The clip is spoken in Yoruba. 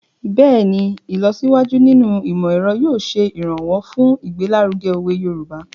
Bẹ́ẹ̀ni, ìlọsíwájú nínú ìmọ̀-ẹ̀ro yóò ṣe ìrànwọ́ fun igbelaruge owe Yoruba